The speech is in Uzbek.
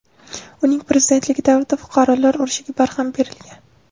Uning prezidentligi davrida fuqarolar urushiga barham berilgan.